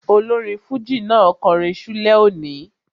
Olórin fújì náà kọrin ṣúlẹ̀ òní